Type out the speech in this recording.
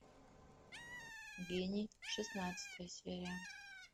гений шестнадцатая серия